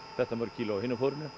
þetta mörg kíló af hinu